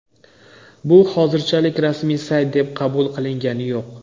Bu hozirchalik rasmiy sayt deb qabul qilingani yo‘q.